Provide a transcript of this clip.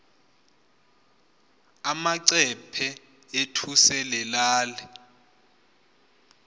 amacephe ethu selelal